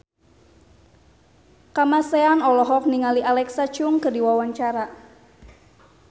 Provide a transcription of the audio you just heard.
Kamasean olohok ningali Alexa Chung keur diwawancara